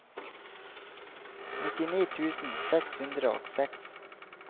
nittini tusen seks hundre og seks